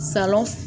Salɔn